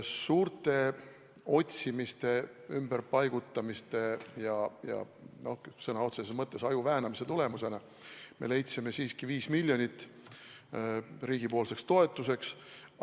Suure otsimise, ümberpaigutamise ja sõna otseses mõttes aju väänamise tulemusena me leidsime siiski 5 miljonit riigipoolseks toetuseks.